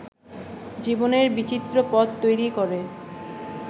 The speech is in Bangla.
জীবনের বিচিত্র পথ তৈরি করে